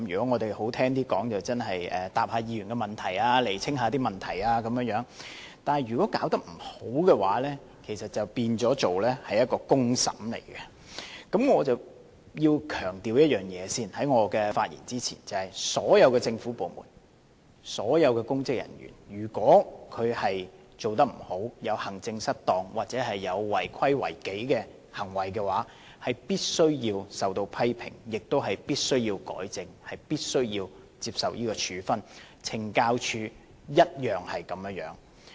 我在發言前先要強調一件事，所有政府部門及所有公職人員，如果他們做得不好，有行政失當或有違規違紀的行為，便必須受到批評，亦都必須要改正及接受處分。懲教署當然不例外。